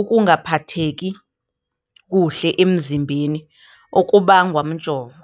ukungaphatheki kuhle emzimbeni okubangwa mjovo?